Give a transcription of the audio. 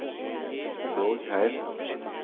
Borgheim